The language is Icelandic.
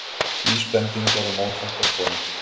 Vísbendingar um óþekkta konu